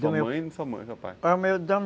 Sua mãe